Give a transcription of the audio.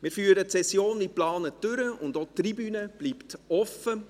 Wir führen die Session wie geplant durch, und auch die Tribüne bleibt geöffnet.